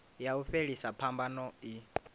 ya u fhelisa phambano i